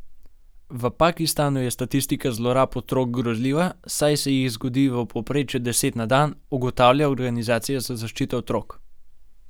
V Pakistanu je statistika zlorab otrok grozljiva, saj se jih zgodi v povprečju deset na dan, ugotavlja organizacija za zaščito otrok.